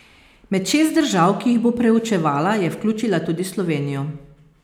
Med šest držav, ki jih bo preučevala, je vključila tudi Slovenijo.